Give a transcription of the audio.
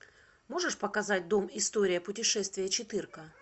можешь показать дом история путешествия четырка